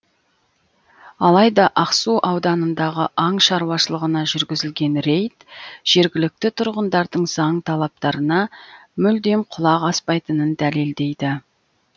алайда ақсу ауданындағы аң шаруашылығына жүргізілген рейд жергілікті тұрғындардың заң талаптарына мүлдем құлақ аспайтынын дәлелдейді